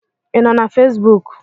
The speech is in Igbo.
Ị nọ na Fesbuk?